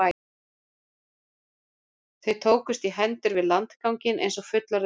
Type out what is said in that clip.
Þau tókust í hendur við landganginn eins og fullorðið fólk.